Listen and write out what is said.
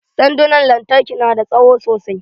Sandunan lantarki na da tsawo sosai.